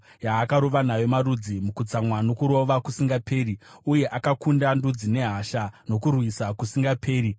yaakarova nayo marudzi mukutsamwa nokurova kusingaperi, uye akakunda ndudzi nehasha nokurwisa kusingaperi.